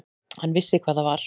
Hann vissi hvað það var.